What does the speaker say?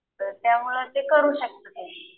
तर त्यामुळं ते करू शकतात हे.